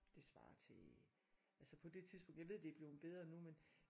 Det svarer til altså på det tidspunkt jeg ved det er bleven bedre nu men øh